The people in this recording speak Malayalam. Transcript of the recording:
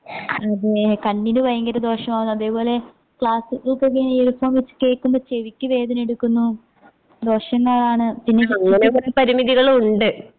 അതെ കണ്ണിന് വയങ്കര ദോഷമാകുന്നു അതേപോലെതന്നെ ക്ലാസ്സുകൾക്കൊക്കെ ഇയർഫോൺ വെച്ച് കേൾക്കുമ്പോ ചെവിക്ക് വേദനയെടുക്കുന്നു. ദോഷങ്ങളാണ് പിന്നെ